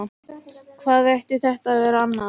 Hvað ætti þetta að vera annað?